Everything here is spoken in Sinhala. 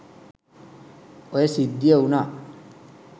ඔය සිද්ධිය වුණා.